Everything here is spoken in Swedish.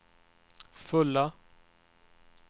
fulla